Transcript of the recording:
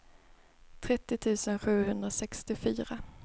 trettio tusen sjuhundrasextiofyra